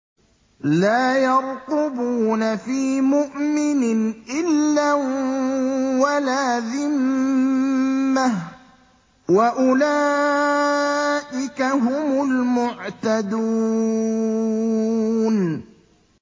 لَا يَرْقُبُونَ فِي مُؤْمِنٍ إِلًّا وَلَا ذِمَّةً ۚ وَأُولَٰئِكَ هُمُ الْمُعْتَدُونَ